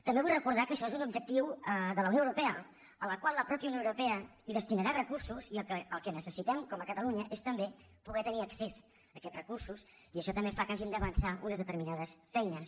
també vull recordar que això és un objectiu de la unió europea al qual la mateixa unió europea destinarà recursos i el que necessitem com a catalunya és també poder tenir accés a aquests recursos i això també fa que hàgim d’avançar unes determinades feines